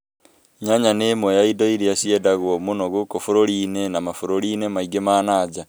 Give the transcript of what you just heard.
Nyanya nĩ ĩmwe ya indo iria ciendagio mũno gũkũ bũrũri-inĩ na mabũrũri-inĩ mangĩ mananja.